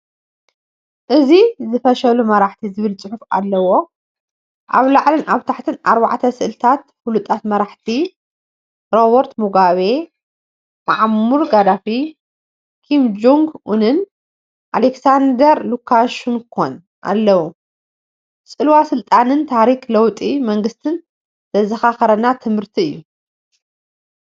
እዚ “ዝፈሸሉ መራሕቲ” ዝብል ጽሑፍ ኣለዎ። ኣብ ላዕሊን ኣብ ታሕቲን ኣርባዕተ ስእልታት ፍሉጣት መራሕቲ ፣ ሮበርት ሙጋቤ፣ ሙዓመር ጋዳፊ፣ ኪም ጆንግ-ኡንን ኣሌክሳንደር ሉካሸንኮን ኣለዉ። ጽልዋ ስልጣንን ታሪኽ ለውጢ መንግስትን ዘዘኻኽረና ትምህርቲ እዩ።